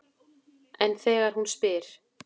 En þegar hún spyr